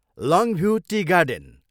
लङ्भ्यू tea garden.